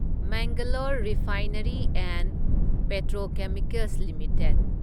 Mangalore refinery and petrochemicals limited